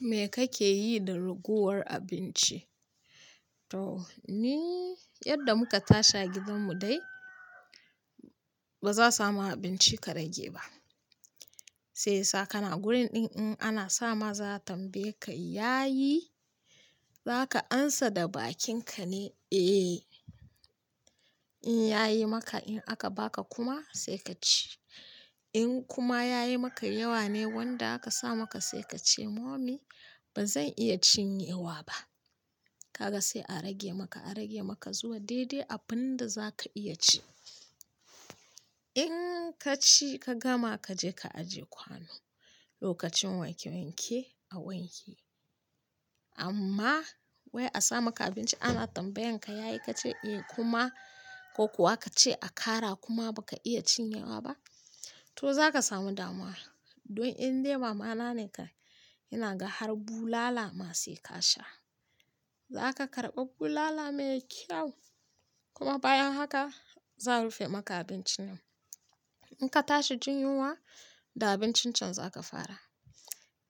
Me kake yi da ragowar abinci? To ni, yadda muka tashi a gidanmu dai ba za mu samu abinci ka rage ba. Sai sa ka na wurin ɗin in ana sa maza tambaye ka, "Yayi?" Za ka amsa da bakinka ne, "Eh." In ya yi maka, in aka ba ka kuma sai ka ci. In kuma ya yi maka yawa ne wanda aka sa maka sai ka ce, "Mummy ba zan iya cinye wa ba." Kaga sai a rage maka, a rage maka zuwa dai-dai abin da za ka iya ci. In ka ci ka gama ka je ka ajiye kwano. Lokacin wanke-wanke a wanke. Amma wai a sa maka abinci ana tambayan ka, "Ya yi?" Ka ce, "Eh." Kuma ko kuwa ka ce a ƙara kuma ba ka iya cinye wa ba, to za ka samu damuwa. Don in dai mama na ne kam, ina ga har bulala ma sai ka sha. Za ka karɓa bulala mai kyau kuma bayan haka za a rufe maka abinci nan. In ka tashi jin yunwa da abincin can za ka fara.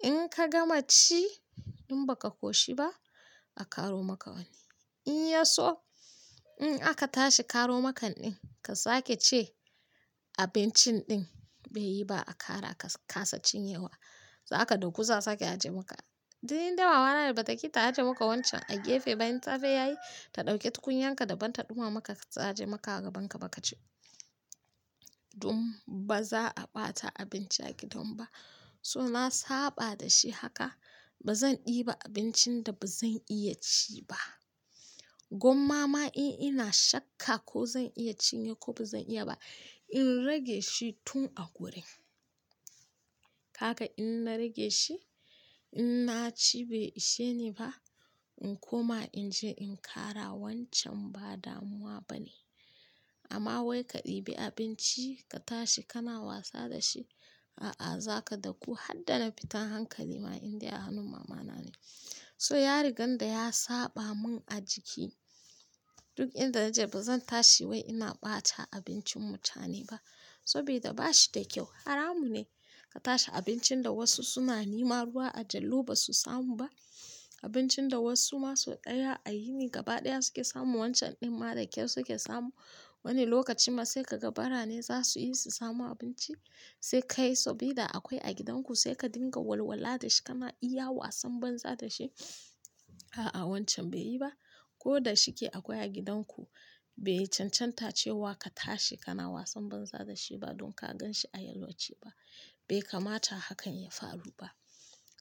In ka gama ci in ba ka koshi ba a ƙaro maka wani. In ya so in aka tashi ƙaro maka ɗin ka sake ce abincin ɗin bai yi ba a ƙara ka kasa cin ye wa. Za ka dqku za su sake a je maka. Don in dai mama na da ba ta ƙi ta aje maka wancan a gefe in taga ya yi, ta ɗauke tukunyar ka daban dumamaka ta aje maka a gaban ka ba ka ci. Don ba za a ɓata abinci a gidan ba. So na saɓa da shi haka ba zan ɗibi abincin da ba zan iya ci ba. Gwamma ma in ina shakka ko zan iya cinye ko ba zan iya ba in rage shi tun a gurin. Kaga in na rage shi in na ci bai ishe ni ba in kuma in je in ƙara wancan ba damuwa ba ne. Amma wai ka ɗibi abinci ka tashi kana wasa da shi, a'a za ka daku har dana fitar hankali ma in dai a hannun mama na ne. So ya riga da ya saɓa mun a jiki. Duk in da naje ba zan tashi wai ina ɓata abincin mutane ba. Sabida ba shi da kyau. Haramu ne ka tashi abincin da wasu suna nema ruwa a jallo ba su samu ba. Abincin da wasu ma so ɗaya a yini gaba ɗaya suke samu wancan ɗin ma da kyau suke samu. Wani lokacin ma sai ka ga bara ne za su iya su samu abinci. Sai ka yi sabida akwai a gidan ku sai ka dinga walwala da shi kana iya wa ason banza da shi. A'a wancan bai yi ba. Ko da shike akwai a gidan ku bai cancanta cewa ka tashi kana wasan banza da shi ba don ka gan shi a yalwace ba. Bai kamata hakan ya faru ba.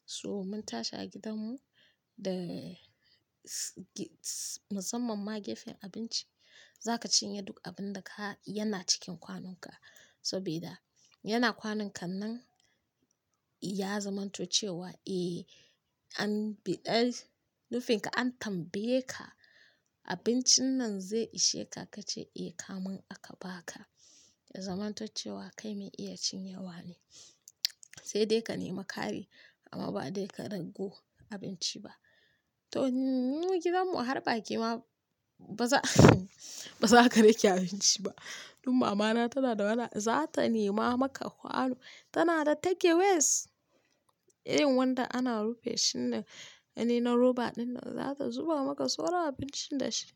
So mun tashi a gidanmu da s-s-musamman ma gefen abinci za ka cinye duk abin da ka-- yana cikin kwanonka. Sabida yana kwanan ka nan ya zamanto cewa, "Eh an bi ƙar-- nufinka an tambaye ka abincin nan zai ishe ka?" Ka ce, "Eh." Kamun aka ba ka ya zamanto cewa kai mai iya cin yawa ne. Sai dai ka nema kare amma ba dai ka raggo abinci ba. To mu gidanmu har baƙi ma ba za ba za ka rage abinci ba. Don mama na tana da mana-- za ta nema maka kwano. Tana da take ways irin wanda ana rufe shi ne, wani na roba ɗin nan za ta zuba maka sauran abincin da shi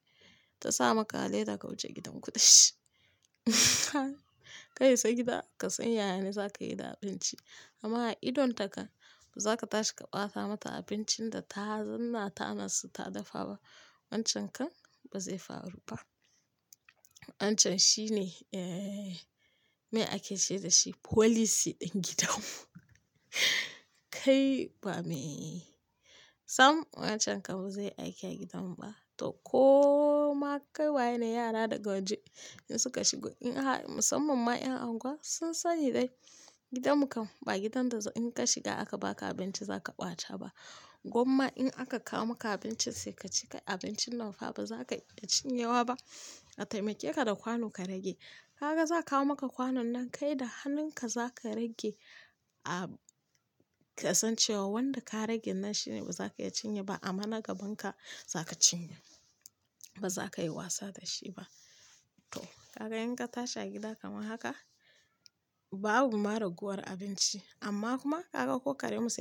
ta sa maka leda ka wuce gidan ku da shi. Ka isa gida ka san ya ya ne za ka yi da abinci. Amma a idon ta kan ba za ka tashi ka ɓata mata abincin da ta zanna tanan so ta dafa ba. Wancan kan ba zai faru ba. Wancan shi ne, eh, me ake ce da shi folisi ɗin gidanmu. Kai ba me-- sam wancan kan ba zai aiki a gidanmu ba. To koma kai waye ne yara da ga waje in suka shigo in har musamman ma ƴan anguwa sun sani dai gidanmu kan ba gidan da in ka shiga aka ba ka abinci za ka ɓata ba. Gwamma in aka kawo maka abinci sai ka ci kai abincin nan fa ba za ka iya cin yawa ba a taimake ka da kwano ka rage. Kaga za a kawo maka kwanon nan kai da hannun ka za ka rage a-- ka san cewa wanda ka rage nan shine ba za ka iya cinye ba amma na gaban ka za ka cinye. Ba za ka yi wasa da shi ba. To kaga in ka tashi a gida kamar haka babu ma raguwar abinci amma kuma kaga ko karye mu sani-